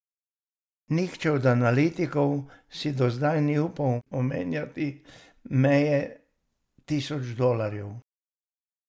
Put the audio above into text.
Nihče od analitikov si do zdaj ni upal omenjati meje tisoč dolarjev.